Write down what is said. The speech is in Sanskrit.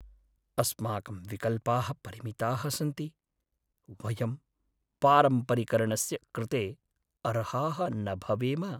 अस्माकं विकल्पाः परिमिताः सन्ति! वयं पारम्परिकर्णस्य कृते अर्हाः न भवेम।